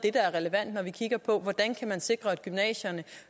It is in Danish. er relevant når vi kigger på hvordan man kan sikre at gymnasierne